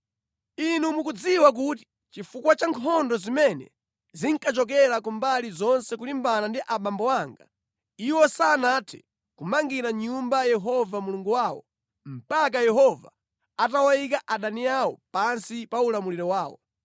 “Inu mukudziwa kuti chifukwa cha nkhondo zimene zinkachokera ku mbali zonse kulimbana ndi abambo anga, iwo sanathe kumangira Nyumba Yehova Mulungu wawo, mpaka Yehova atawayika adani awo pansi pa ulamuliro wawo.